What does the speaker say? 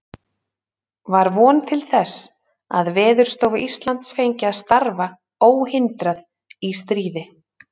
Var von til þess, að Veðurstofa Íslands fengi að starfa óhindrað í stríði?